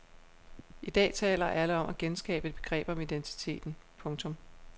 I dag taler alle om at genskabe et begreb om identiteten. punktum